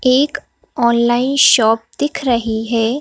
एक online shop दिख रही है।